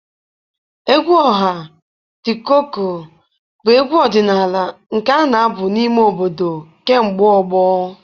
Egwu ọha The Cuckoo bụ egwu ọdịnala nke a na-abụ n'ime obodo kemgbe ọgbọ.